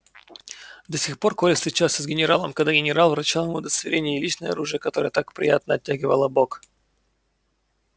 до сих пор коля встречался с генералом когда генерал вручал ему удостоверение и личное оружие которое так приятно оттягивало бок